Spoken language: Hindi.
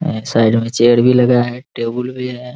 एक साइड मे चेयर भी लगा है टेबुल भी है ।